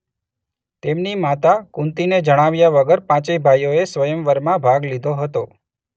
તેમની માતા કુંતીને જણાવ્યા વગર પાંચેય ભાઈઓએ સ્વયંવરમાં ભાગ લીધો હતો.